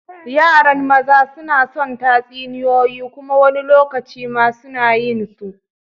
Yaran maza suna son tatsuniyoyi kuma wani lokacin ma suna yin su.